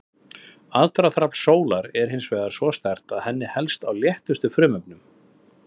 Aðdráttarafl sólar er hins vegar svo sterkt að henni helst á léttustu frumefnunum.